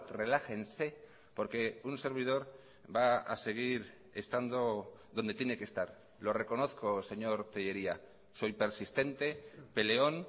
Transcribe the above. relájense porque un servidor va a seguir estando donde tiene que estar lo reconozco señor tellería soy persistente peleón